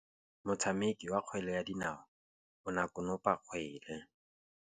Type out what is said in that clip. Motshameki wa kgwele ya dinaô o ne a konopa kgwele.